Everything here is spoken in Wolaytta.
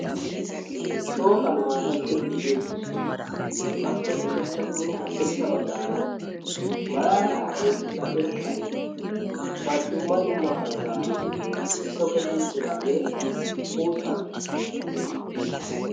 shooqan maatay sippi gii uttees appe ushachchanne haddirssa baggaara maaraa oyqqida irxxabay dumma dummaa hanotan toketti uttidaagee uuttaa geetettaes